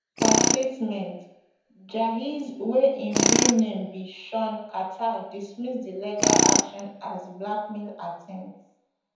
for statement jayz wey im real name be shawn carter dismiss di legal action as blackmail attempt